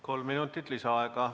Kolm minutit lisaaega.